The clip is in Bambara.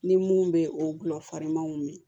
Ni mun bɛ o gulɔ farinman min